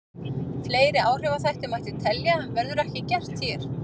Fleiri áhrifaþætti mætti telja en verður ekki gert hér.